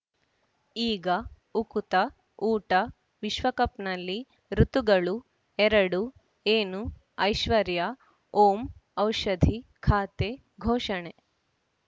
ಈಗ ಉಕುತ ಊಟ ವಿಶ್ವಕಪ್‌ನಲ್ಲಿ ಋತುಗಳು ಎರಡು ಏನು ಐಶ್ವರ್ಯಾ ಓಂ ಔಷಧಿ ಖಾತೆ ಘೋಷಣೆ